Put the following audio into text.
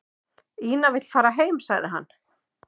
Angela